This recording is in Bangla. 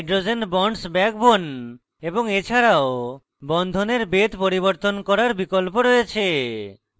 set hydrogen bonds in the backbone এবং এছাড়াও বন্ধনের বেধ পরিবর্তন করার বিকল্প রয়েছে